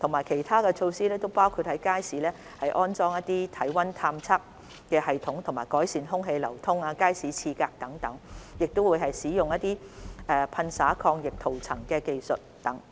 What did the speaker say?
其他措施包括在街市安裝體溫探測系統，改善空氣流通和街市廁格，以及使用噴灑抗菌塗層技術等。